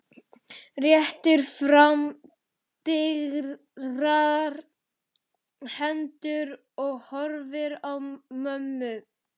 Réttir fram digrar hendurnar og horfir á mömmu.